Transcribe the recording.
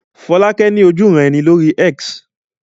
Fọ́lákẹ́ ní ojúuran-ẹni lórí X